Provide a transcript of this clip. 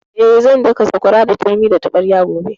Eh, zan daka sakwara da turmi da taɓarya gobe